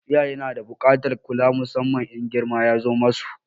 Iyaye na da buƙatar kula musamman in girma ya zo ma su.